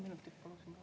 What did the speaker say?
Paluksin kolm minutit.